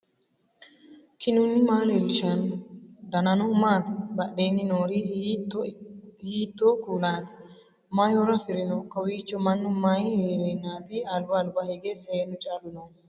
knuni maa leellishanno ? danano maati ? badheenni noori hiitto kuulaati ? mayi horo afirino ? kowiicho mannu mayi heerennaati alba alba hige seennu callu noohu